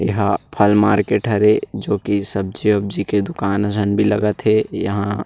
ये हा फल मार्केट हरे जो की सब्जी वब्जि के दुकान मंडी लगत हें यहाँ--